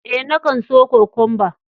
Eh, na kan so Kokwamba.